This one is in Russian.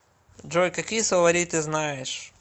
джой какие словари ты знаешь